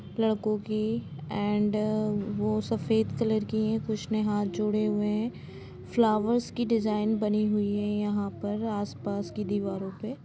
लडकों की एंड वो सफ़ेद कलर की है लडकों की एंड वो सफ़ेद कलर की है कुछ ने हाथ जोड़े हुए हैं फ्लावर्स की डिजाईन बनी हुई है यहाँ पर आसपास की दीवारों पे कुछ ने हाथ जोड़े हुए हैं फ्लावर्स की डिजाईन बनी हुई है यहाँ पर आसपास की दीवारों पे